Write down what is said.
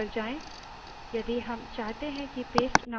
अब slide पर जाएँ